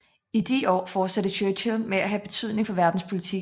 I de år fortsatte Churchill med at have betydning for verdenspolitikken